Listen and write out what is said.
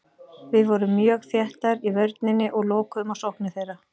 Við vorum mjög þéttar í vörninni og lokuðum á sóknir þeirra.